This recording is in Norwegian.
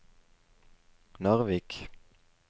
Narvik